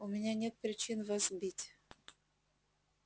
у меня нет причин вас бить